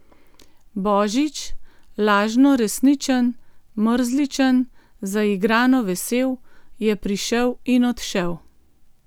Božič, lažno resničen, mrzličen, zaigrano vesel, je prišel in odšel.